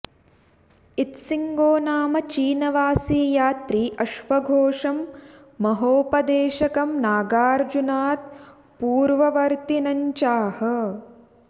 इत्सिङ्गो नाम चीनवासी यात्री अश्वघोषं महोपदेशकं नागार्जुनात् पूर्ववर्त्तिनञ्चाह